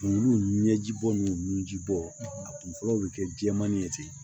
Kungolo ɲɛji bɔn ni nun ji bɔ a kun fɔlɔ bi kɛ jɛmanni ye ten